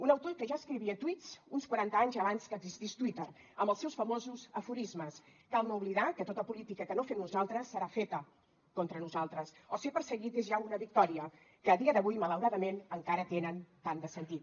un autor que ja escrivia tuits uns quaranta anys abans que existís twitter amb els seus famosos aforismes cal no oblidar que tota política que no fem nosaltres serà feta contra nosaltres o ser perseguit és ja una victòria que a dia d’avui malauradament encara tenen tant de sentit